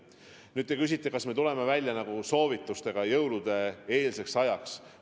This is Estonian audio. Nüüd te küsite, kas me tuleme välja soovitustega jõulude-eelseks ajaks.